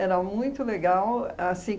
Era muito legal, assim